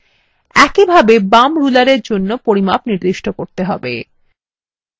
একইভাবে বাম rulerএর জন্য পরিমাপ নির্দিষ্ট করতে হবে